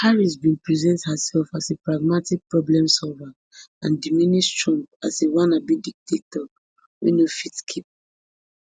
harris bin present herself as a pragmatic problemsolver and diminish trump as a wannabe dictator wey no fit keep